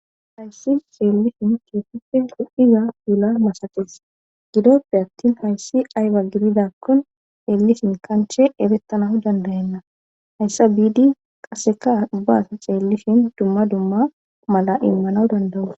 Hayssi xeelishin keeseppe hu7iza dula masakes gidoppe attin hayssi ayba gididakkon eellisin kanche erettanah dandayanna hayssa biidi qaseka ubba asa ceellishin dumma dumma mala immana dandawus.